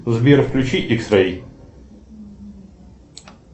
сбер включи икс рэй